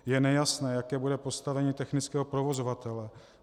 Je nejasné, jaké bude postavení technického provozovatele.